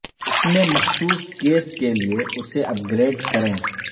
اپنے مخصوص کیس کے لئے اسے اپ گریڈ کریں